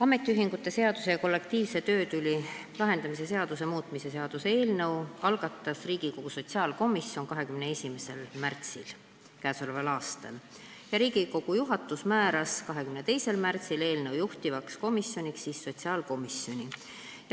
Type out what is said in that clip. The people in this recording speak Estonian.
Ametiühingute seaduse ja kollektiivse töötüli lahendamise seaduse muutmise seaduse eelnõu algatas Riigikogu sotsiaalkomisjon 21. märtsil k.a ja Riigikogu juhatus määras 22. märtsil eelnõu juhtivkomisjoniks sotsiaalkomisjoni.